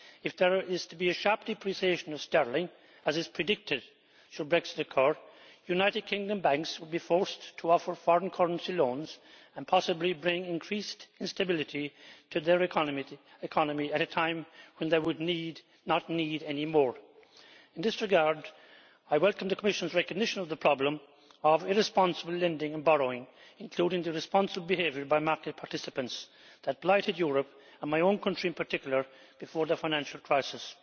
If there is to be a sharp depreciation of sterling, as is predicted, should Brexit occur, United Kingdom banks would be forced to offer foreign currency loans and possibly bring increased instability to their economy at a time when they would need not need any more. In this regard, I welcome the Commission's recognition of the problem of irresponsible lending and borrowing, including the irresponsible behaviour by market participants that blighted Europe, and my own country in particular, before the financial crisis.